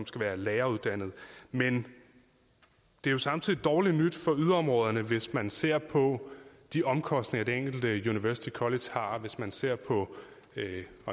skal være læreruddannet men det er jo samtidig dårligt nyt for yderområderne hvis man ser på de omkostninger som det enkelte university college har og hvis man ser på